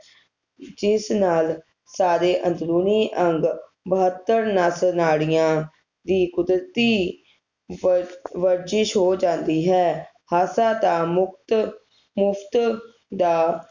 ਜਿਸ ਨਾਲ ਸਾਰੇ ਅੰਦਰੂਨੀ ਅੰਗ ਬਹੱਤਰ ਨੱਸ ਨਾੜੀਆਂ ਦੀ ਕੁਦਰਤੀ ਵਰ ਵਰਜਿਸ਼ ਹੋ ਜਾਂਦੀ ਹੈ ਹਾਸਾ ਤਾ ਮੁਕਤ ਮੁਫ਼ਤ ਦਾ